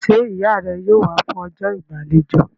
Ṣé ìyá rẹ yóò wá fún ọjọ́ ìgbàlejò?